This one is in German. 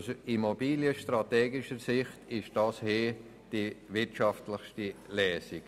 Aus immobilienstrategischer Sicht ist dies die wirtschaftliche Lösung.